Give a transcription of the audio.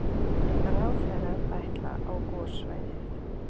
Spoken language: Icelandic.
Ráðherrar ætla á gossvæðið